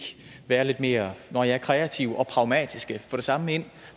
være lidt mere nå ja kreative og pragmatiske og få det samme ind